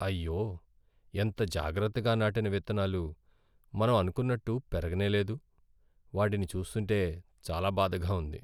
అయ్యో, ఎంత జాగ్రత్తగా నాటిన విత్తనాలు మనం అనుకున్నట్టు పెరగనేలేదు. వాటిని చూస్తుంటే చాలా బాధగా ఉంది.